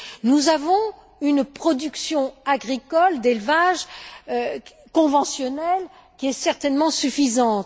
Nous avons une production agricole, d'élevage, conventionnelle qui est certainement suffisante.